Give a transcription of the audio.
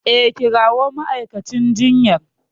E, kirawo ma'aikacin jinyar.